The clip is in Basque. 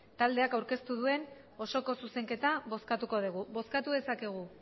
taldeak aurkeztu duen osoko zuzenketa bozkatuko dugu bozkatu dezakegu